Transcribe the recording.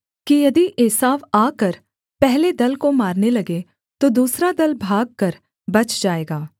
कि यदि एसाव आकर पहले दल को मारने लगे तो दूसरा दल भागकर बच जाएगा